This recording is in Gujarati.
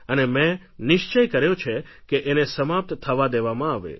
અને મેં નિશ્ચય કર્યો છે કે એને સમાપ્ત થવા દેવામાં આવે